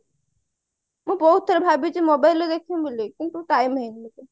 ମୁଁ ବହୁତ ଥର ଭାବିଛି mobile ରେ ଦେଖିବି ବୋଲି କିନ୍ତୁ time ହଉନି ମତେ